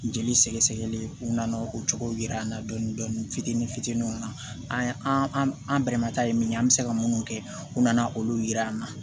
Jeli sɛgɛ sɛgɛli u nana o cogo yira an na dɔɔni dɔɔni fitini fitiniw na an an bɛmataa ye min ye an bɛ se ka minnu kɛ u nana olu jira an na